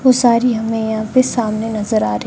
वो सारी हमें यहां पे सामने नज़र आ रही--